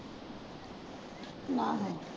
ਆਹੋ।